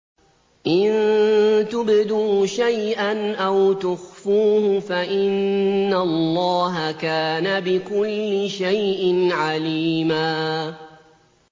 إِن تُبْدُوا شَيْئًا أَوْ تُخْفُوهُ فَإِنَّ اللَّهَ كَانَ بِكُلِّ شَيْءٍ عَلِيمًا